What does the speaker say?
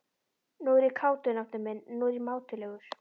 Nú er ég kátur, nafni minn, nú er ég mátulegur.